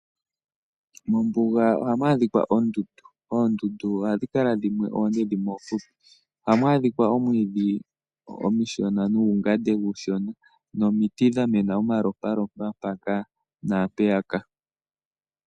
Mombuga ohamu adhikwa oondundu. Oondundu ohadhi kala dhimwe oonde dhimwe ofupi. Oha mu adhika omwiidhi omiishona nuungate uushona. Nomiiti dhamena omalompalompa mpaka naampeya ka.